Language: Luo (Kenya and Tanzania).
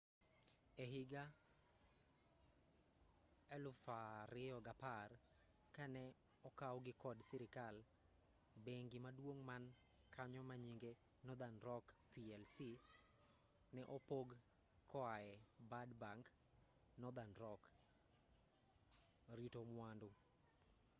ehiga 2010 ka ne okawgi kod sirikal bengi maduong man kanyo manyinge northern rock plc ne opog koae ‘bad bank’ northern rock rito mwandu